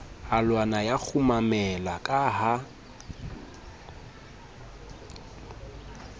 alwana ya kgumamela ka ha